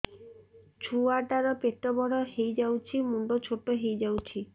ଛୁଆ ଟା ର ପେଟ ବଡ ହେଇଯାଉଛି ମୁଣ୍ଡ ଛୋଟ ହେଇଯାଉଛି